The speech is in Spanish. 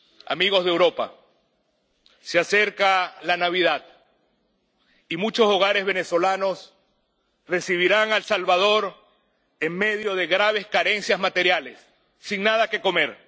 Amigos de Europa, se acerca la Navidad y muchos hogares venezolanos recibirán al Salvador en medio de graves carencias materiales, sin nada que comer.